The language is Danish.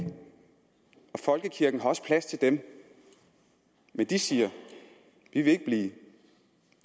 folkekirken har også plads til dem men de siger vi vil ikke blive